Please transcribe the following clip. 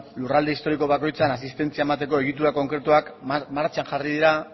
lurralde historiko bakoitzean asistentzia emateko egitura konkretuak martxan jarri dira